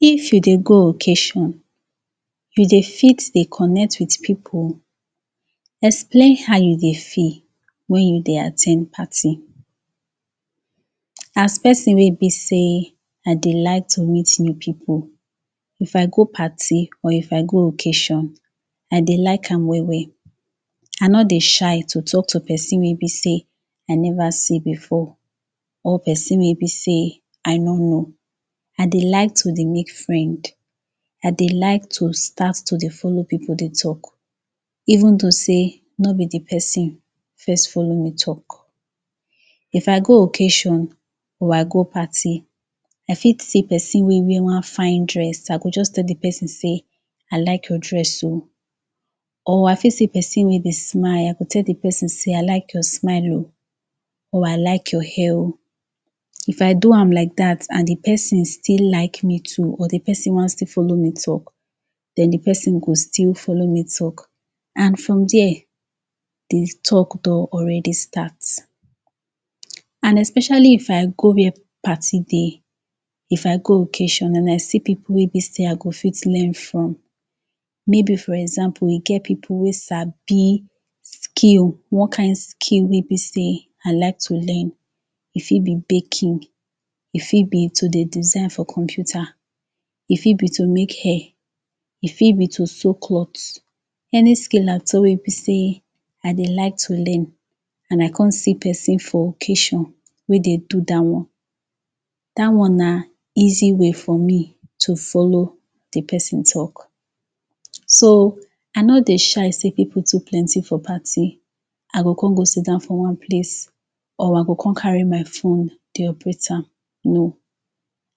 If you dey go ocassion you dey fit dey connect wit people explain how you dey feel wen you dey at ten d party As person wey be say, I dey like to meet new people If I go party or if I go ocassion I dey like am well I no dey shy to talk to person wey be sey I never see before or person wey be sey I no know I dey like to dey make friend I dey like to dey start to dey follow people dey talk eventhough sey no be de person first follow me talk If I go ocassion, or I go party I fit see person wey wear one fine dress, I go just tell de person sey " I like your dress - o." Or I fit see person wey dey smile, I go tell de person sey, "I like your smile -o". Or " I like your hair - o" If I do am like dat and de person still like me too and de person want still follow me talk, den de person go still follow me talk and from dere de talk don already start. And especially If I go wey party dey If I go ocassion and I see people wey be sey I go fit learn from, maybe for example, e get people wey sabi skill; one kind skill wey be sey I like to learn e fit be baking, e fit be to dey design for computer e fit be to make hair e fit be to sew cloth any skill at all wey be sey I dey like to learn and I come see person for ocassion wey dey do dat one dat one na easy way for me to follow de person talk so I no dey shy sey people too plenty for party I go come go siddown for one place or I go come carry my phone dey operate am.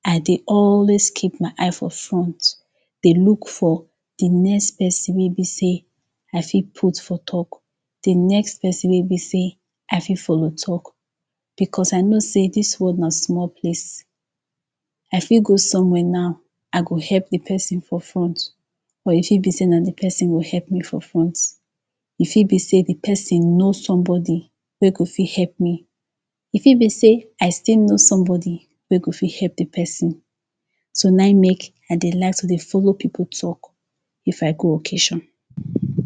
I dey always keep my eye for front dey look for de next person wey be sey I fit put for talk dey next person wey be sey I fit follow talk because I know sey dis world na small place I fit go somewhere now I go help dey person for front or e fit be sey na de person go help me for front e fit be sey de person know somebody wey go fit help me e fit be sey I still know somebody wey go fit help de person so na e make I dey like to dey follow people talk if I go ocassion.